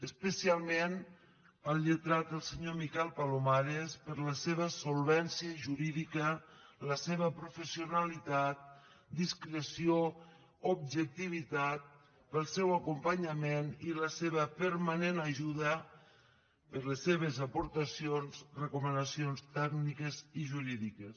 especialment al lletrat el senyor miquel palomares per la seva solvència jurídica la seva professionalitat discreció objectivitat pel seu acompanyament i la seva permanent ajuda per les seves aportacions recomanacions tècniques i jurídiques